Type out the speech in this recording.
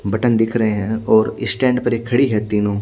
button दिख रहे है और स्टेंड पर ही खड़ी है तीनो--